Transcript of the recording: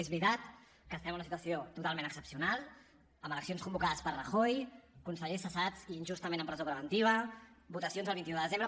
és veritat que estem en una situació totalment excepcional amb eleccions convocades per rajoy consellers cessats i injustament en presó preventiva votacions el vint un de desembre